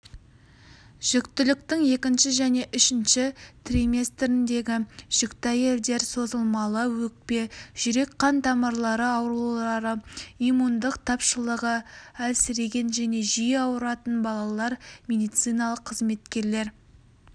жүктіліктің екінші және үшінші триместріндегі жүкті әйелдер созылмалы өкпе жүрек-қан тамырлары аурулары иммундық тапшылығы әлсіреген және жиі ауыратын балалар медициналық қызметкерлер